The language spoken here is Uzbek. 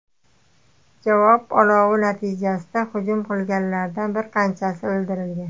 Javob olovi natijasida hujum qilganlardan bir qanchasi o‘ldirilgan.